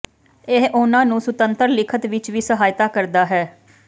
ਇਹ ਉਹਨਾਂ ਨੂੰ ਸੁਤੰਤਰ ਲਿਖਤ ਵਿੱਚ ਵੀ ਸਹਾਇਤਾ ਕਰਦਾ ਹੈ